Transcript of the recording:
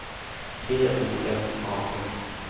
T O M A S